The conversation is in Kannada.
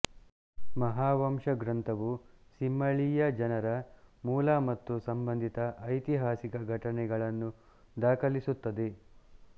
ಮಹಾವಂಶ ಗ್ರಂಥವು ಸಿಂಹಳೀಯ ಜನರ ಮೂಲ ಮತ್ತು ಸಂಬಂಧಿತ ಐತಿಹಾಸಿಕ ಘಟನೆಗಳನ್ನು ದಾಖಲಿಸುತ್ತದೆ